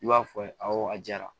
I b'a fɔ awɔ a jara